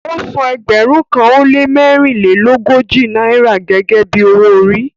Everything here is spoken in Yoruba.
Ọ́ sàn ẹgbérùn kan o le mẹ̀rìnlẹ̀lọ́gójì Naira gẹ́gẹ́ bí ọwọ-òrì